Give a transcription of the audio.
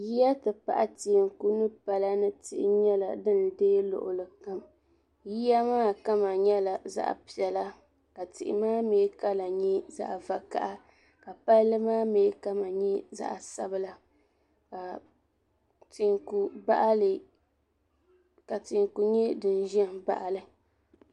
Yiya ti pahi tihi n kuli n kuli lu palani nyela din deegi luɣuli kam yiya maa kama nyela zaɣa piɛla ka tihi maa kala nyɛ zaɣa vakaha ka Palli maa kama nyɛ zaɣa sabla ka teeku nyɛ din ʒen baɣali.